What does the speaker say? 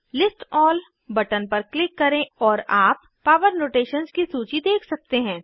list all button पर click करें और आप पॉवर नोटेशन्स की सूची देख सकते हैं